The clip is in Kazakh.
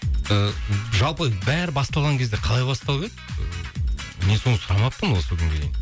ыыы жалпы бәрі басталған кезде қалай басталып еді ы мен соны сұрамаппын осы күнге дейін